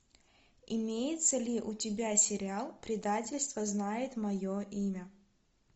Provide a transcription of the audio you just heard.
имеется ли у тебя сериал предательство знает мое имя